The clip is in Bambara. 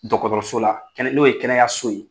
Dɔgɔtɔrɔso la n'o ye kɛnɛyaso ye